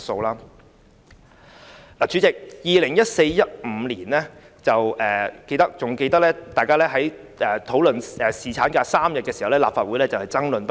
代理主席，猶記得大家在2014年至2015年間討論3天侍產假時，立法會爭論不已。